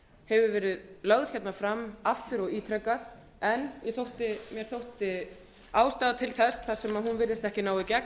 hefur verið lögð fram aftur og ítrekað en mér þótti ástæða til þess þar sem hún virðist ekki ná í gegn að